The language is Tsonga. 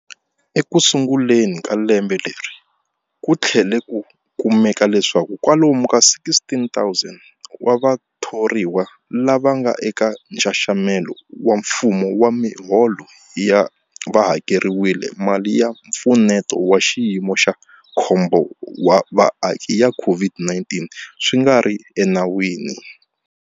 Ekusunguleni ka lembe leri, ku tlhele ku kumeka leswaku kwalomu ka 16,000 wa vathoriwa lava nga eka nxaxamelo wa mfumo wa miholo va hakeriwile mali ya Mpfuneto wa Xiyimo xa Khombo wa Vaaki ya COVID-19 swi nga ri enawini.